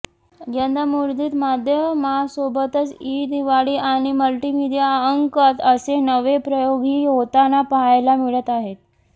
यंदा मुद्रित माध्यमासोबतच ई दिवाळी आणि मल्टिमीडिया अंक असे नवे प्रयोगही होताना पाहायला मिळत आहेत